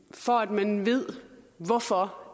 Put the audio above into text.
for at man ved hvorfor